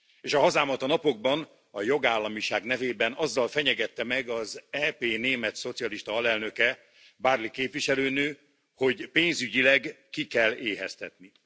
És a hazámat a napokban a jogállamiság nevében azzal fenyegette meg az EP német szocialista alelnöke, Barley képviselőnő, hogy pénzügyileg ki kell éheztetni.